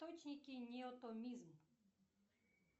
точники неотомизм